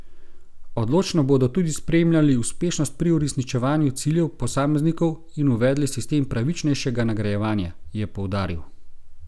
Odločno bodo tudi spremljali uspešnost pri uresničevanju ciljev posameznikov in uvedli sistem pravičnejšega nagrajevanja, je poudaril.